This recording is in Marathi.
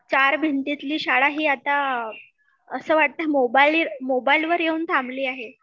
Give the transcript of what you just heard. चार भिंतीतली शाळा ही आता असं वाटतं मोबाईल मोबाईलवर येऊन थांबली आहे